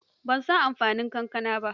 Ban san amfanin kankana ba.